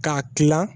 K'a tila